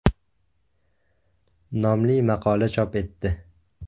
)” nomli maqola chop etdi.